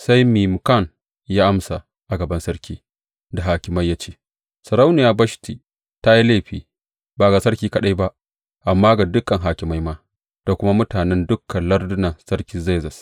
Sai Memukan ya amsa a gaban sarki da hakimai ya ce, Sarauniya Bashti ta yi laifi, ba ga sarki kaɗai ba, amma ga dukan hakimai ma, da kuma mutanen dukan lardunan sarki Zerzes.